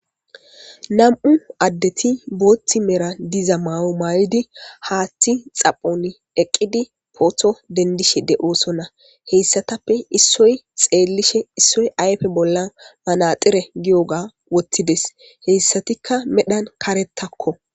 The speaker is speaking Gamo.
Nam'u addeti booththi mera diza mawo maayodi haaththi xaphon eqqidi pootho dendishe de'oosonna heyssatappe issoy xeellishe issoy ayfe bolla manaxire giyoga wottides heyssatikka medhan karettakko.